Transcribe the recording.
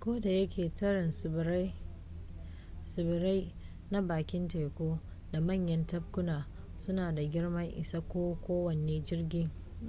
kodayake tarin tsibirai na bakin teku da manyan tabkuna suna da girman isa ga kowane